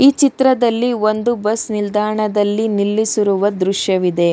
ಚಿತ್ರದಲ್ಲಿ ಒಂದು ಬಸ್ ನಿಲ್ದಾಣದಲ್ಲಿ ನಿಲ್ಲಿಸಿರುವ ದೃಶ್ಯವಿದೆ.